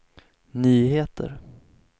nyheter